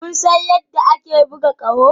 Kun san yadda ake buga ƙaho?